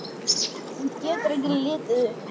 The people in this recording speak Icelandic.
Hún getur ekki litið upp.